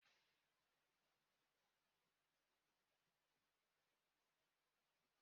Ma eleghị anya, onye njikwa ụlọ akụ m agaghị ebinye ego